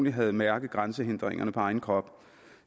havde mærket grænsehindringerne på egen krop